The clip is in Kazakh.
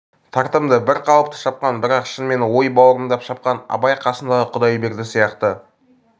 тартымды бір қалыпты шапқан бірақ шынымен ой баурымдап шапқан абай қасындағы құдайберді сияқты